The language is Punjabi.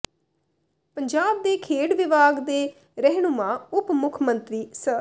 ਪੰਜਾਬ ਦੇ ਖੇਡ ਵਿਭਾਗ ਦੇ ਰਹਿਨੁਮਾ ਉੱਪ ਮੁੱਖ ਮੰਤਰੀ ਸ